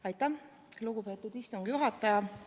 Aitäh, lugupeetud istungi juhataja!